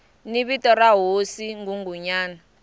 ni vito ra hosi nghunghunyana